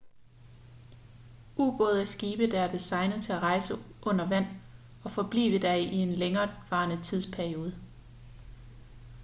ubåde er skibe der er designet til at rejse under vand og forblive der i en længevarende tidsperiode